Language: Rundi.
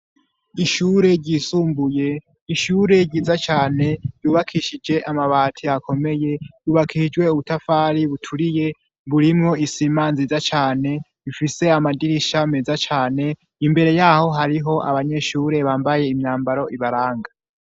Ishure ryisumbuye ishure ryiza cane yubakishije amabati akomeye yubakishijwe ubutafari buturiye mburimwo isima nziza cane bifise amadirisha meza cane imbere yaho hariho abanyeshure bambaye imyambaro ibaranga.